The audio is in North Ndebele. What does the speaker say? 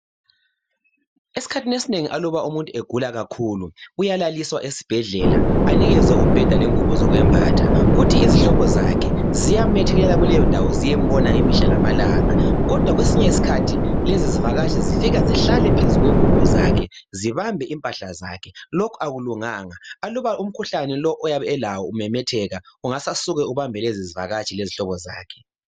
Esikhathini esinengi aluba umuntu egula kakhulu uyanikezwa umbheda lengubo zokumbatha kuthi izihlobo zakhe ziyamethekelela zisiyambona imihla lamalanga kodwa kwesinye isikhathi lezizivakatshi zifika zihlale phezu kwengubo zakhe zibambe impahle zakhe lokhu akulunganga aluba umkhuhlane lo alawo umemetheka ungasuke ubambe lezi zivakatshi lezihlobo zakhe